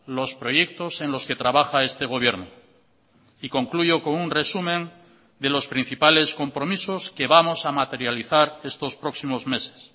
los proyectos en los que trabaja este gobierno y concluyo con un resumen de los principales compromisos que vamos a materializar estos próximos meses